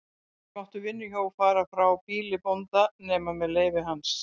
Ekki máttu vinnuhjú fara frá býli bónda nema með leyfi hans.